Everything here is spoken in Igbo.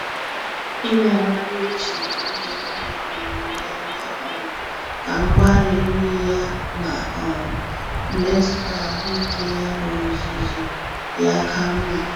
Ịmegharị uche n'oge nri um na-eme um ka mgbari nri ya na um mmetụta ahụike ya n'ozuzu ya ka mma.